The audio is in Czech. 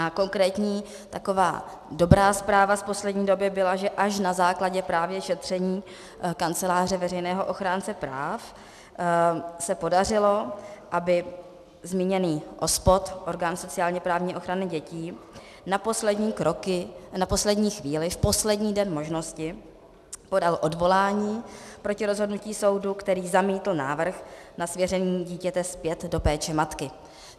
A konkrétní taková dobrá zpráva z poslední doby byla, že až na základě právě šetření Kanceláře veřejného ochránce práv se podařilo, aby zmíněný OSPOD, Orgán sociálně-právní ochrany dětí, na poslední chvíli, v poslední den možnosti, podal odvolání proti rozhodnutí soudu, který zamítl návrh na svěření dítěte zpět do péče matky.